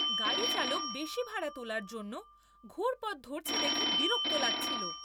গাড়িচালক বেশি ভাড়া তোলার জন্য ঘুর পথ ধরছে দেখে বিরক্ত লাগছিল।